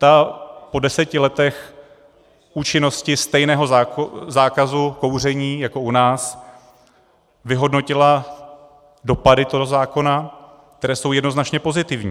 Ta po deseti letech účinnosti stejného zákazu kouření jako u nás vyhodnotila dopady toho zákona, které jsou jednoznačně pozitivní.